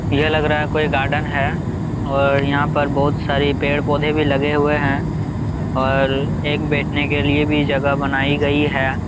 यह लग रहा है कोई गार्डन है और यहां पर बहुत सारी पेड़ पौधे भी लगे हुए है और एक बैठने के लिए भी जगह बनाई गई हैं।